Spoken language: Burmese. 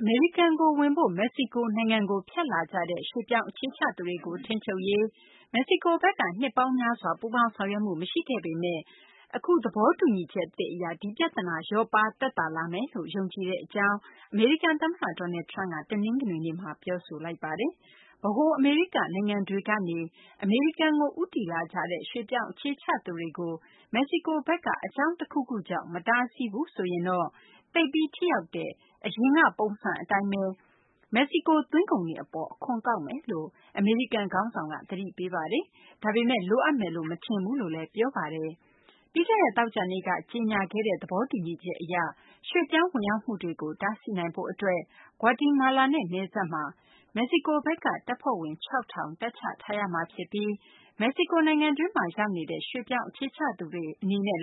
အမေရိကန်ကို ဝင်ဖို့ မက္ကဆီကို နိုင်ငံကို ဖြတ်လာကြတဲ့ ရွှေ့ပြောင်းအခြေချသူတွေကို ထိန်းချုပ်ရေး မက္ကဆီကိုဘက်က နှစ်ပေါင်းများစွာ ပူးပေါင်းဆောင်ရွက်မှု မရှိခဲ့ပေမယ့် အခု သဘောတူညီချက်သစ် အရ ဒီပြသနာ လျော့ပါးသက်သာလာမယ်လို့ ယုံကြည်ကြောင်း အမေရိကန် သမ္မတ Donald Trump က တနင်္ဂနွေနေ့မှာ ပြောဆိုလိုက်ပါတယ်။ ဗဟို အမေရိက နိုင်ငံတွေကနေ အမေရိကန်ကို ဦးတည်လာကြတဲ့ ရွှေ့ပြောင်းအခြေချသူတွေကို မက္ကဆီကိုဘက်က အကြောင်းတခုခုကြောင့် မတားဆီးဘူးဆိုရင်တော့ သိပ်ပြီး ထိရောက်တဲ့ အရင်က ပုံစံအတိုင်းဘဲ မက္ကဆီကို သွင်းကုန်တွေ အပေါ် အခွန်ကောက်မယ်လို့ အမေရိကန် ခေါင်းဆောင်က သတိပေးပါတယ်။ ဒါပေမယ့် လိုအပ်မယ်လို့ မထင်ပါဘူးလို့လည်း ပြောပါတယ်။ ပြီးခဲ့တဲ့ သောကြာနေ့က ကြေညာခဲ့တဲ့ သဘောတူညီချက် အရ ရွှေ့ပြောင်းဝင်ရောက်မှုတွေကို တားဆီးနိုင်ဖို့ အတွက် ဂါွတီမာလာနဲ့ နယ်စပ်မှာ မက္ကဆီကိုဘက်က တပ်ဖွဲ့ဝင် ၆,၀၀၀ တပ်ချထားရမှာ ဖြစ်ပြီး မက္ကဆီကို နိုင်ငံတွင်းမှာ ရောက်နေတဲ့ ရွှေ့ပြောင်းအခြေချသူတွေ အနေနဲ့